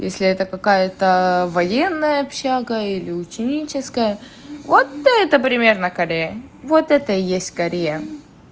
если это какая-то военная общага или ученическая вот это примерно корея вот это и есть корея